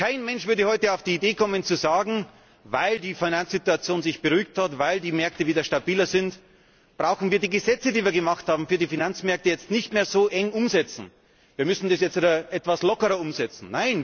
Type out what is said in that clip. Kein Mensch würde heute auf die Idee kommen zu sagen Weil die Finanzsituation sich beruhigt hat, weil die Märkte wieder stabiler sind, brauchen wir die Gesetze, die wir für die Finanzmärkte gemacht haben, jetzt nicht mehr so eng umzusetzen, wir müssen das jetzt etwas lockerer umsetzen.